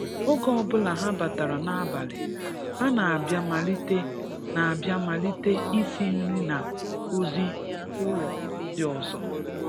Oge ọbụla ha batara n'abali, ha na-abịa malite na-abịa malite isi nri na ozi ụlọ ndị ọzọ